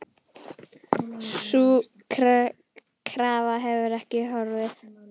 Sú krafa hefur ekki horfið.